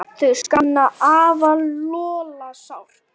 Þau sakna afa Lolla sárt.